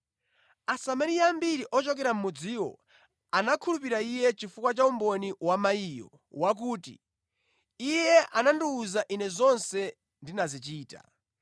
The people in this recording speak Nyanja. Asamariya ambiri ochokera mʼmudziwo anakhulupirira Iye chifukwa cha umboni wa mayiyo wakuti, “Iye anandiwuza ine zonse ndinazichita.”